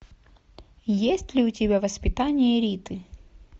есть ли у тебя воспитание риты